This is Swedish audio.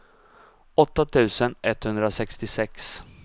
åtta tusen etthundrasextiosex